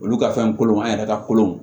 Olu ka fɛn kolonw an yɛrɛ ka kolon